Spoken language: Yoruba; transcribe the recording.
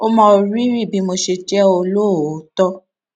ó mọ rírì bí mo ṣe jé olóòótó